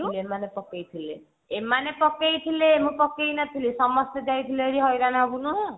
ଏମାନେ ପକେଇଥିଲେ ଏମାନେ ପକେଇଥିଲେ ମୁଁ ପକେଇ ନଥିଲି ସମସ୍ତେ ଯାଇଥିଲେ ହାରି ହଇରାଣ ହବୁନୁ